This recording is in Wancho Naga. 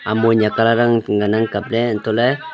amo nyakalarang ngan ang kapley hantohley--